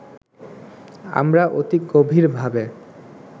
আমরা অতি গভীর ভাবে